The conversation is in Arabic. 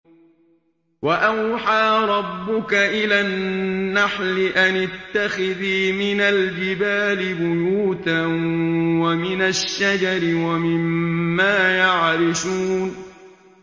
وَأَوْحَىٰ رَبُّكَ إِلَى النَّحْلِ أَنِ اتَّخِذِي مِنَ الْجِبَالِ بُيُوتًا وَمِنَ الشَّجَرِ وَمِمَّا يَعْرِشُونَ